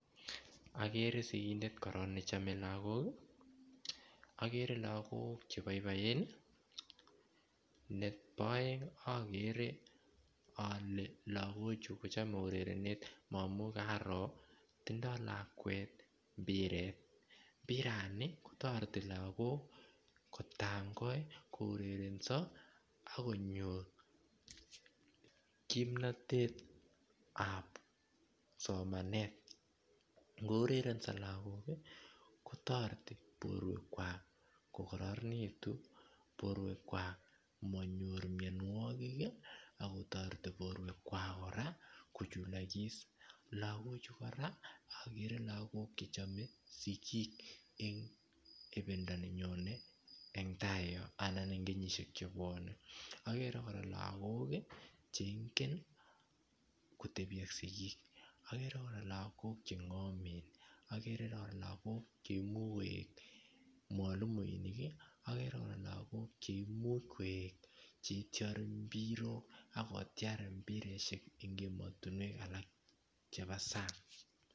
Okere sigindet nechome lagok ii okere lagok cheboiboen ii , nebo oeng okere ole lagochu kochome urerenet ngamun karoo tindo lakwet mpiret, mpirani kotoreti lagok kotangoi kourereson ok konyor kimnotetab somanet ngourerenso lagok ii kotoreti boruekwak kokororonitu boruekwak amonyor mionuokik ii ak kotoreti boruekwak koraa kochulokis, lagokochu koraa okere lagok chechome sigik en ibindo nenyone en tai yon anan en kenyishek chebwonen, okere koraa lagok chengomenngen kotebi ak sigik, okere koraa chengomen cherorie cheimuch koik mwalimuinik , okere koraa lagok cheimuch koe chetiore mpirok ak kotiar mpirishek en emotinuek alak chebo sang.